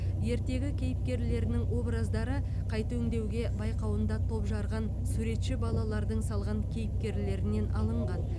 ертегі кейіпкерлерінің образдары қайта өңдеуге байқауында топ жарған суретші балалардың салған кейіпкерлерінен алынған